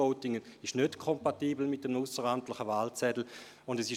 E-Voting ist nicht mit einem ausseramtlichen Wahlzettel kompatibel.